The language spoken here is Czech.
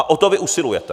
A o to vy usilujete.